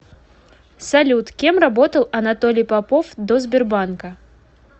салют кем работал анатолий попов до сбербанка